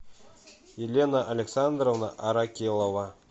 елена александровна аракелова